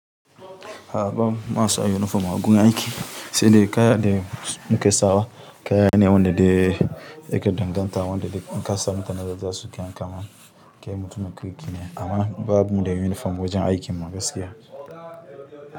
A a bamu masu sa yunifom a gun aiki, sai dai kaya da muke sawa, kaya ne wanda dai ake danganta wanda dai n'kasa mutane za su kian kama kai mutum ya kira yake. A mana babu dai yunifom wajen aikin gaskiya.